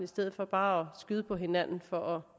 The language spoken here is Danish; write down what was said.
stedet for bare at skyde på hinanden for at